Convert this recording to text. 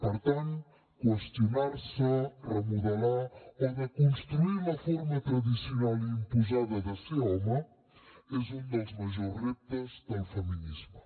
per tant qüestionar se remodelar o desconstruir la forma tradicional i imposada de ser home és un dels majors reptes del feminisme